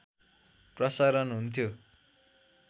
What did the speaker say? प्रसारण हुन्थ्यो